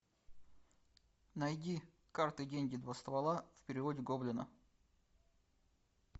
найди карты деньги два ствола в переводе гоблина